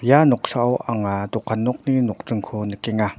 ia noksao anga dokan nokni nokdringko nikenga.